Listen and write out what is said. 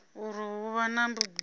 uri hu vha na vhugudisi